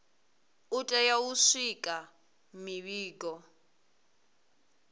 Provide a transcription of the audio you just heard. u tea u swikisa mivhigo